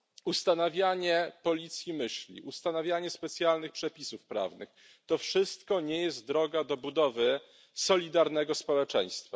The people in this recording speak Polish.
Ustanawianie policji myśli, ustanawianie specjalnych przepisów prawnych to wszystko nie jest drogą do budowy solidarnego społeczeństwa.